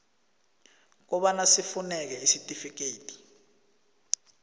kobana sifuneke isitifikedi